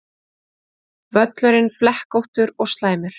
Völlurinn flekkóttur og slæmur